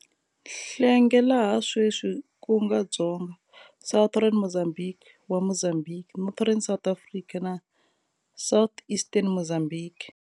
Hlengwe laha sweswi kunga Dzonga, Southern Mozambique, wa Mozambique, Northern South Africa na Southeastern Mozambique.